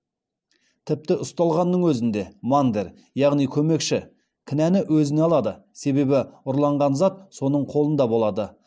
тіпті ұсталғанның өзінде мандер яғни көмекші кінәні өзіне алады себебі ұрланған зат соның қолында болады